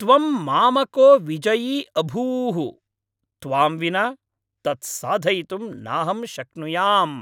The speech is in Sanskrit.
त्वं मामको विजयी अभूः! त्वां विना तत् साधयितुं नाहं शक्नुयाम्।